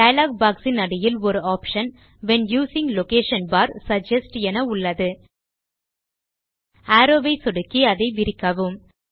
dialogue box இன் அடியில் ஒரு option when using location bar suggest என உள்ளது அரோவ் ஐ சொடுக்கி அதை விரிக்கவும்